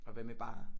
Og hvad med barer